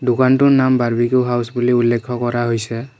দোকানটোৰ নাম barbecue house বুলি উল্লেখ কৰা হৈছে।